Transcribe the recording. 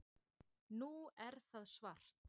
Nú er það svart